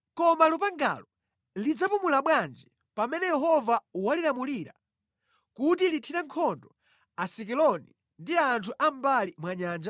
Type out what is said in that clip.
Koma lupangalo lidzapumula bwanji pamene Yehova walilamulira kuti lithire nkhondo Asikeloni ndi anthu a mʼmbali mwa nyanja?”